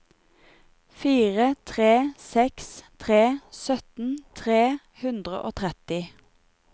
fire tre seks tre sytten tre hundre og tretti